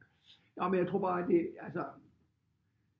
Nå men jeg tror bare det altså